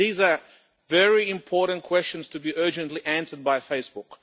These are very important questions to be urgently answered by Facebook.